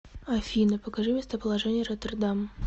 афина покажи местоположение роттердам